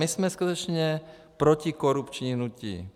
My jsme skutečně protikorupční hnutí.